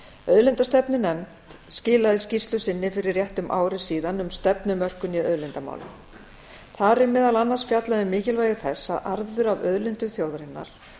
auðlindastefnunefnd skilaði skýrslu sinni fyrir rétt um ári síðan um stefnumörkun í auðlindamálum þar er meðal annars fjallað um mikilvægi þess að arður af auðlindum þjóðarinnar